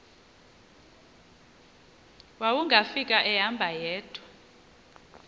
wawungafika ehamba yedwa